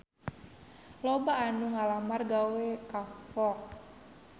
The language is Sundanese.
Loba anu ngalamar gawe ka Fox